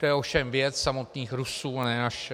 To je ovšem věc samotných Rusů, ne naše